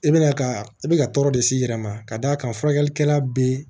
I bɛna ka i bɛ ka tɔɔrɔ de s'i yɛrɛ ma ka d'a kan furakɛlikɛla bɛ